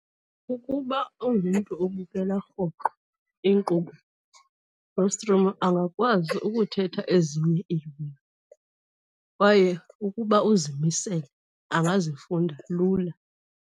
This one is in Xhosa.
Ukuba ungumntu obukela rhoqo inkqubo yostrimo angakwazi ukuthetha ezinye iilwimi kwaye ukuba uzimisele, angazifunda lula.